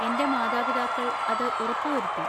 എന്‍റെ മാതാപിതാക്കൾ അത് ഉറപ്പുവരുത്തി.